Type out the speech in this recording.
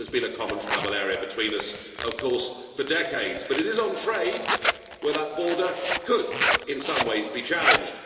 There has been a common travel area between us, of course, for decades, but it is on trade where that border could in some ways be challenged.